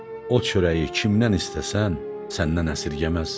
O çörəyi kimdən istəsən, səndən əsirgəməz.